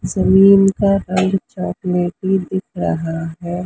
जमीन का रंग चाकलेटी दिख रहा है।